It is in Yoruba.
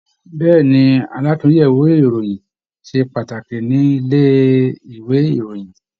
Bẹ̀ẹ́ni, àlatúnyẹwò ìròyìn ṣe pàtàkì nílé ìwé ìròyìn.